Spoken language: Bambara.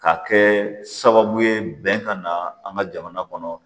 Ka kɛ sababu ye bɛn ka na an ka jamana kɔnɔ